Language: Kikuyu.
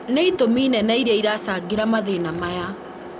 nĩ itũmi nene iria iracangĩra mathĩna maya